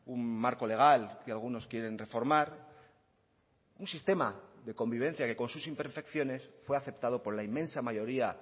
un marco legal que algunos quieren reformar un sistema de convivencia que con sus imperfecciones fue aceptado por la inmensa mayoría